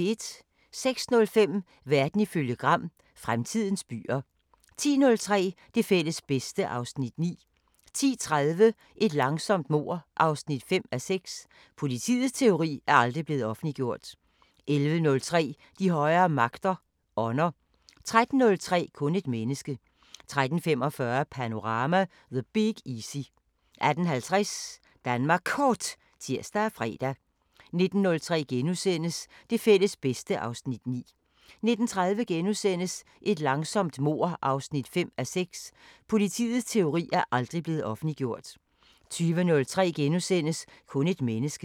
06:05: Verden ifølge Gram: Fremtidens byer 10:03: Det fælles bedste (Afs. 9) 10:30: Et langsomt mord 5:6 – Politiets teori er aldrig blevet offentliggjort 11:03: De højere magter: Ånder 13:03: Kun et menneske 13:45: Panorama: The Big Easy 18:50: Danmark Kort (tir og fre) 19:03: Det fælles bedste (Afs. 9)* 19:30: Et langsomt mord 5:6 – Politiets teori er aldrig blevet offentliggjort * 20:03: Kun et menneske *